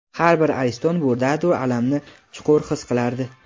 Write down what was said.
har bir ariston bu dardu alamni chuqur his qilardi.